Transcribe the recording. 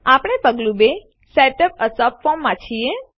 આપણે પગલું ૨Setup એ સબફોર્મ માં છીએ